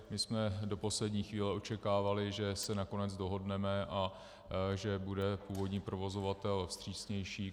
My jsme do poslední chvíle očekávali, že se nakonec dohodneme a že bude původní provozovatel vstřícnější.